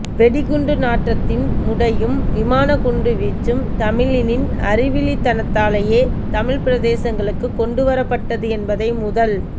வெடிகுண்டு நாற்றத்தின் முடையும் விமாக்குண்டுவீச்சும் தமிழ்னின் அறிவீலித்தனத்தாலேயே தமிழ்பிரதேசங்களுக்கு கொண்டு வரப்பட்டது என்பதை முதல்